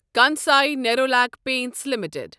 Kansai Nerolac Paints limited